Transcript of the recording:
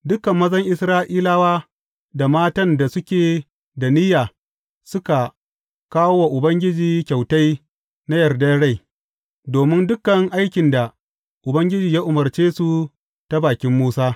Dukan mazan Isra’ilawa da matan da suke da niyya suka kawo wa Ubangiji kyautai na yardar rai, domin dukan aikin da Ubangiji ya umarce su ta bakin Musa.